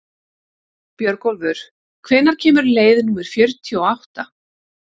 Björgólfur, hvenær kemur leið númer fjörutíu og átta?